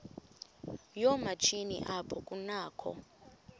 yoomatshini apho kunakho